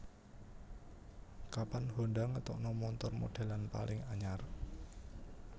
Kapan Honda ngetokno montor modelan paling anyar